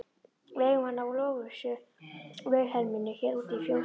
Við eigum hana Lovísu Vilhelmínu hér úti í fjósi.